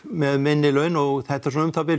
með minni laun og þetta er svona um það bil